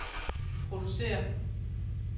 producerer